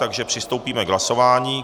Takže přistoupíme k hlasování.